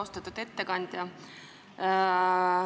Austatud ettekandja!